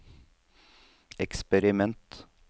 eksperiment